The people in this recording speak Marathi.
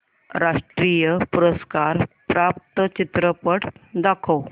राष्ट्रीय पुरस्कार प्राप्त चित्रपट दाखव